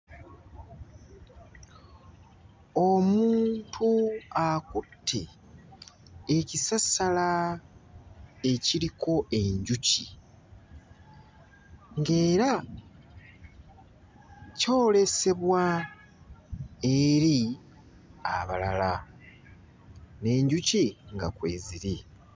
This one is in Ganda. Omuntu akutte ekisasala ekiriko enjuki ng'era kyolesebwa eri abalala, n'enjuki nga kweziri.